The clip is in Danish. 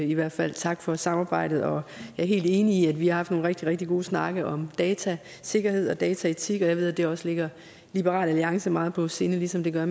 i hvert fald tak for samarbejdet og jeg er helt enig i at vi har haft nogle rigtig rigtig gode snakke om datasikkerhed og dataetik og jeg ved at det også ligger liberal alliance meget på sinde ligesom det gør